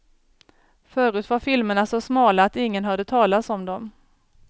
Förut var filmerna så smala att ingen hörde talas om dem.